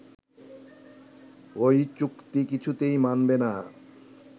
ওই চুক্তি কিছুতেই মানবে না